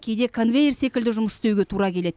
кейде конвейер секілді жұмыс істеуге тура келеді